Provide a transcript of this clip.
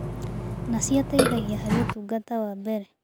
Naci ateithagia harĩ ũtungata wa mbere